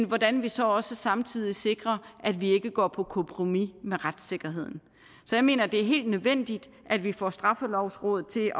hvordan vi så også samtidig sikrer at vi ikke går på kompromis med retssikkerheden så jeg mener det er helt nødvendigt at vi får straffelovrådet til